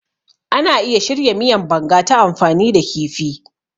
Ana iya shirya miyan Banga ta amfani da kifi.